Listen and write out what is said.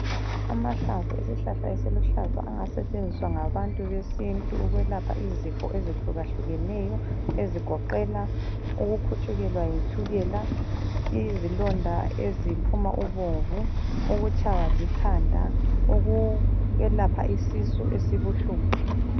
Amahlamvu esihlahla esiluhlaza angasetshenziswa ngabantu besintu ukwelapha izifo ezehlukahlukeneyo ezigoqela ukukhutshukelwa yitshukela, izilonda eziphuma ubomvu, ukutshaywa likhanda, ukwelapha isisu esibuhlungu.